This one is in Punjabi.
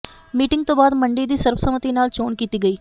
ਮੀਟਿੰਗ ਤੋਂ ਬਾਅਦ ਮੰਡੀ ਦੀ ਸਰਬਸੰਮਤੀ ਨਾਲ ਚੋਣ ਕੀਤੀ ਗਈ